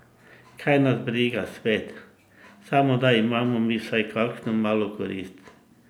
Kaj nas briga svet, samo da imamo mi vsaj kakšno malo korist!